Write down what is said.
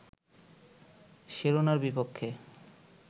সেরেনারবিপক্ষে